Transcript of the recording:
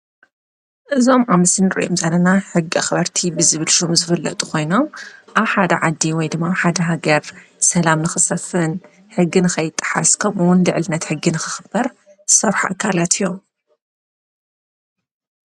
እዞም ኣብ ምስሊ እንርእዮም ዘለና ሕጊ ኣክበርቲ ብዝብል ሽም ዝፍለጡ ኮይኖም። ኣብ ሓደ ዓዲ ወይ ድማ ሓደ ሃገር ሰላም ንክሰፍን ሕጊ ንከይጥሓስ ከምኡ እውን ልዕልነት ሕጊ ንክክበር ዝሰርሑ ኣካላት እዮም።